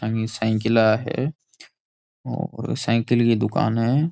आंगी साइकिलां है और साईकिल की दुकान है।